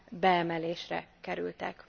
beemelésre kerültek.